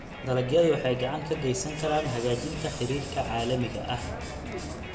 Dalagyadu waxay gacan ka geysan karaan hagaajinta xiriirka caalamiga ah.